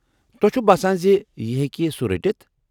تۄہہ چھوٕ باسان زِ یہِ ہیٚکہ سُہ رٔٹِتھ ۔